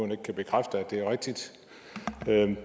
kan bekræfte at det er rigtigt